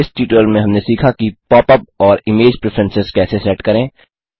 इस ट्यूटोरियल में हमने सीखा कि पॉप अप और इमेज प्रिफरेंसेस कैसे सेट करें